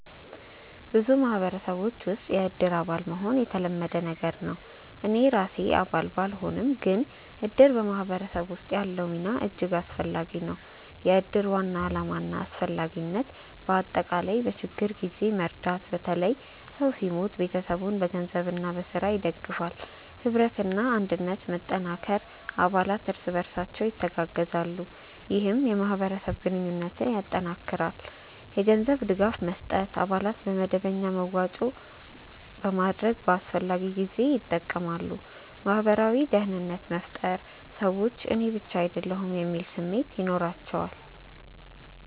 በብዙ ማህበረሰቦች ውስጥ “የእድር አባል” መሆን የተለመደ ነገር ነው። እኔ ራሴ አባል ባልሆንም፣ ግን እድር በማህበረሰብ ውስጥ ያለው ሚና እጅግ አስፈላጊ ነው። የእድር ዋና ዓላማና አስፈላጊነት በአጠቃላይ፦ በችግኝ ጊዜ መርዳት – በተለይ ሰው ሲሞት ቤተሰቡን በገንዘብና በሥራ ይደግፋል። ኅብረትና አንድነት መጠንከር – አባላት እርስ በርሳቸው ይተጋገዛሉ፣ ይህም የማህበረሰብ ግንኙነትን ያጠናክራል። የገንዘብ ድጋፍ መስጠት – አባላት በመደበኛ መዋጮ በማድረግ በአስፈላጊ ጊዜ ይጠቀማሉ። ማህበራዊ ደህንነት መፍጠር – ሰዎች “እኔ ብቻ አይደለሁም” የሚል ስሜት ይኖራቸዋል